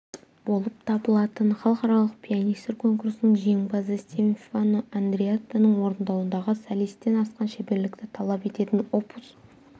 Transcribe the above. болып табылатын халықаралық пианистер конкурсының жеңімпазы стефано андреаттаның орындауындағы солистен асқан шеберлікті талап ететін опус